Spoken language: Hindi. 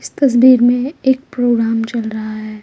इस तस्वीर में एक प्रोग्राम चल रहा है।